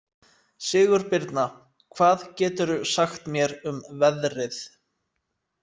Sigurbirna, hvað geturðu sagt mér um veðrið?